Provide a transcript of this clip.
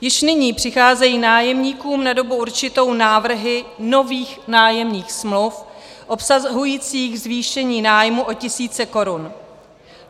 Již nyní přicházejí nájemníkům na dobu určitou návrhy nových nájemních smluv obsahujících zvýšení nájmu o tisíce korun.